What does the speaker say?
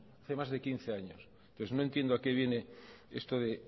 hace más de quince años pues no entiendo a que viene esto de